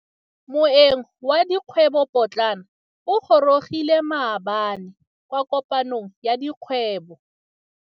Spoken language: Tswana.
Moêng wa dikgwêbô pôtlana o gorogile maabane kwa kopanong ya dikgwêbô.